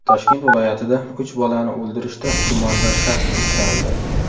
Toshkent viloyatida uch bolani o‘ldirishda gumondor shaxs ushlandi.